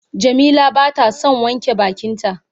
Jamila bata son wanke bakin ta.